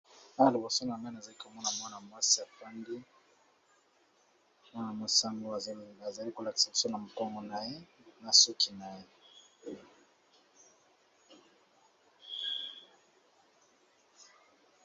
Awa liboso nanga nazali komona mwana mwasi avandi, mwana mwasi ango azali ko lakisa biso na mokongo naye ye na suki naye.